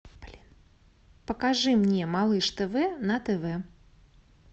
блин покажи мне малыш тв на тв